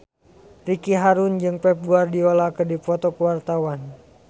Ricky Harun jeung Pep Guardiola keur dipoto ku wartawan